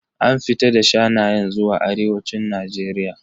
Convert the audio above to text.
An fita da shanayen zuwa arewacin Najeriya.